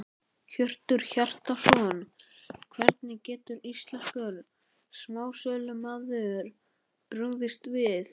Hjörtur Hjartarson: Hvernig getur íslenskur smásölumarkaður brugðist við?